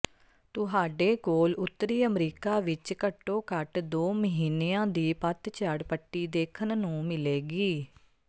ਤੁਹਾਡੇ ਕੋਲ ਉੱਤਰੀ ਅਮਰੀਕਾ ਵਿੱਚ ਘੱਟੋ ਘੱਟ ਦੋ ਮਹੀਨਿਆਂ ਦੀ ਪਤਝੜ ਪੱਟੀ ਦੇਖਣ ਨੂੰ ਮਿਲੇਗੀ